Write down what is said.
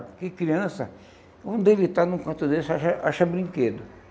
Porque criança, quando ele está num canto desse, acha acha brinquedo.